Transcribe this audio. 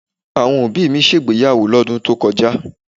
Àwọn òbí mi ṣe ìgbéyàwó lọ́dún tí ó kọjá